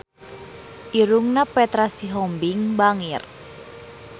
Irungna Petra Sihombing bangir